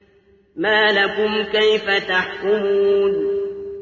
مَا لَكُمْ كَيْفَ تَحْكُمُونَ